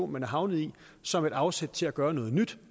man er havnet i som et afsæt til at gøre noget nyt